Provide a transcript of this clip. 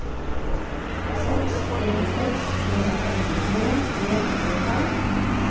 seks en seks en femtitre tre hundre og tolv